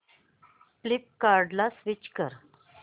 फ्लिपकार्टं ला स्विच कर